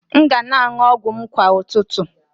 M ga na-aṅụ ọgwụ m kwa ụtụtụ